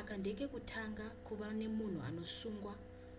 aka ndekekutanga kuva nemunhu anosungwa